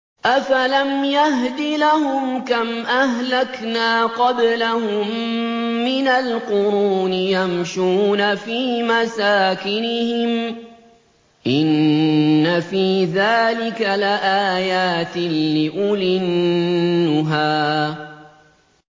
أَفَلَمْ يَهْدِ لَهُمْ كَمْ أَهْلَكْنَا قَبْلَهُم مِّنَ الْقُرُونِ يَمْشُونَ فِي مَسَاكِنِهِمْ ۗ إِنَّ فِي ذَٰلِكَ لَآيَاتٍ لِّأُولِي النُّهَىٰ